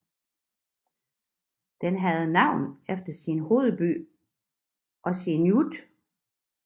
Den havde navn efter sin hovedby Qasigiannguit